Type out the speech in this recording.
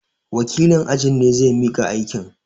Wakilin ajin ne zai miƙa aikin.